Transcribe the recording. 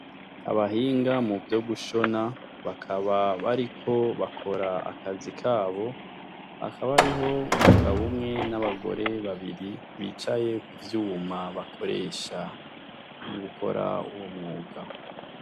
Abahinga muvyo gushona bakaba bariko bakora akazi kabo, hakaba hariho umugabo umwe n'abagore babiri bicaye kuvyuma bakoresha mugukora uwo mwuga.